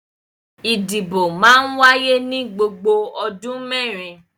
Ìdìbò máa ń wáyé ní gbogbo odun mẹ́rin.